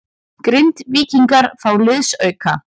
Grindvíkingar fá liðsauka